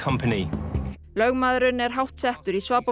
lögmaðurinn er háttsettur í